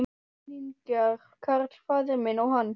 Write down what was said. Þeir voru góðkunningjar, karl faðir minn og hann.